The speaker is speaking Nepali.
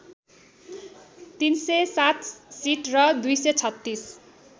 ३०७ सिट र २३६